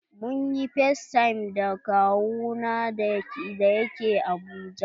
Mun ƴi factime da kawu na da ya ke Abuja.